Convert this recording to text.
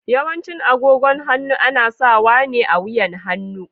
Yawancin agogon hannu ana sawa ne a wuyan hannu.